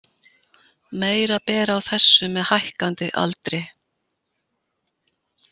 Meira ber á þessu með hækkandi aldri.